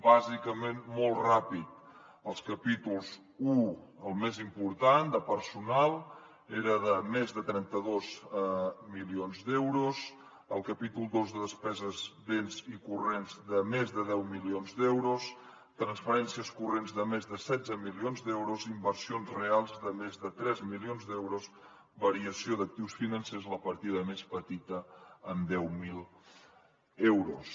bàsicament molt ràpid el capítol un el més important de personal era de més de trenta dos milions d’euros el capítol dos de despeses béns corrents de més de deu milions d’euros transferències corrents de més de setze milions d’euros inversions reals de més de tres milions d’euros variació d’actius financers la partida més petita amb deu mil euros